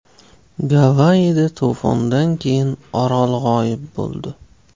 Gavayida to‘fondan keyin orol g‘oyib bo‘ldi.